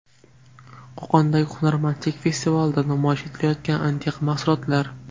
Qo‘qondagi hunarmandchilik festivalida namoyish etilayotgan antiqa mahsulotlar.